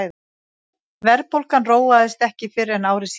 verðbólgan róaðist ekki fyrr en ári síðar